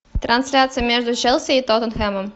трансляция между челси и тоттенхэмом